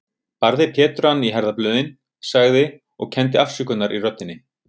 Barði Pétur hann í herðablöðin, sagði, og kenndi afsökunar í röddinni